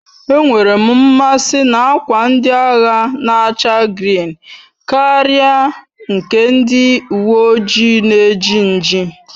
E nwerem mmasi n'akwa ndị agha na-acha grịn Karia nke ndị uwe ojii na eji nji